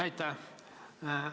Aitäh!